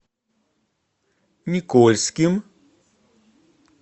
никольским